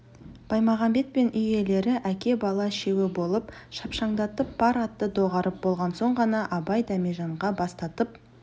баймағамбет пен үй иелері әке бала үшеуі болып шапшаңдатып пар атты доғарып болған соң ғана абай дәмежанға бастатып